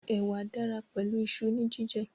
Ẹ̀wà dára pẹ̀lú iṣu ní jíjẹ